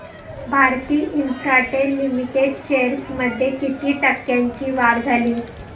Bharti Infratel limited shares मध्ये किती टक्क्यांची वाढ झाली